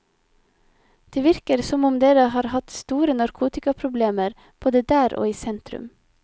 Det virker som om dere har store narkotikaproblemer, både der og i sentrum.